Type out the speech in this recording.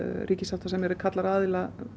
ríkissáttasemjari kallar aðila